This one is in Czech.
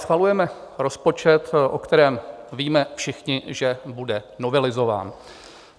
Schvalujeme rozpočet, o kterém víme všichni, že bude novelizován.